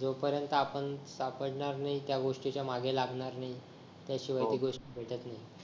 जोपर्यंत आपण सापडणार नाही त्या गोष्टीच्या आपण त्या गोष्टीच्या मागे लागणार नाही त्या शिवाय ती गोष्ट भेटत नाही